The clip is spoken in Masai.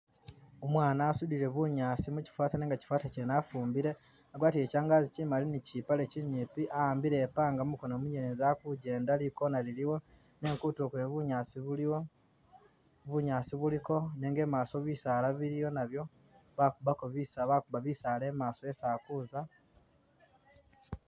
Umwana asudile bunyaasi mukyifata nenga kyifata kyene afumbile, agwatile kyangazi kyimali ni kyipale kyinyipi a'ambile i'panga mukono munyelezi akujjenda li'corner liliwo, nenga kutulo kwene bunyaasi buliwo, bunyaasi buliko nenga i'maso bisaala biliyo nabyo bakubako bisa bakuba bisaala i'maso esi ali kuza